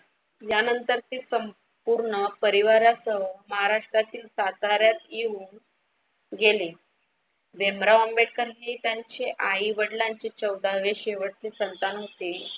यानंतर ते संपूर्ण परिवारासह महाराष्ट्रातील साताऱ्यात येऊन गेले. भीमराव आंबेडकर हे त्यांचे आई वडिलांचे चौदावे शेवटचे संतान होते.